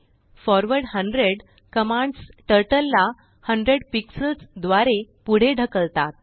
forward 100कमांड्स Turtleला 100 pixelsद्वारेपुढे ढकलतात